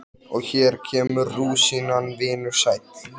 Og hér kemur rúsínan, vinur sæll!